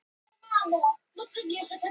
Tommi og Jenni